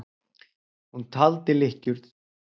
Hún taldi lykkjur.